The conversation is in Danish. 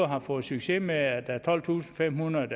har fået succes med at der er tolvtusinde og femhundrede